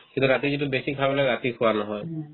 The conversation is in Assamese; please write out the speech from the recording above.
কিন্তু ৰাতি যিটো বেছি খাও নহয় ৰাতি খোৱা নহয়